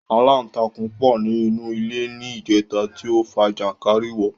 Aláǹtakùn pọ ní inú ilé ní ìjẹta tí ó fa jànkárìwọ̀